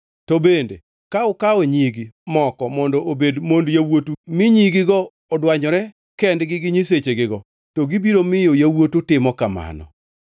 To bende ka ukawo nyigi moko mondo obed mond yawuotu mi nyigigo odwanyore kendgi gi nyisechegigo, to gibiro miyo yawuotu timo kamano.